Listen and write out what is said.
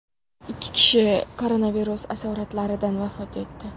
Ikki kishi koronavirus asoratlaridan vafot etdi.